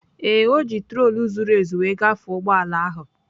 Ee, o ji trotul zuru ezu wee gafee ụgbọ ala ahụ.